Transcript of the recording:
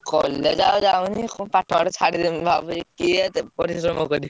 College ଆଉ ଯାଉନି କଣ ପାଠ ଫାଠ ଛାଡିଦେବି ଭାବୁଚି କିଏ ଏତେ ପରିଶ୍ରମ କରିବ।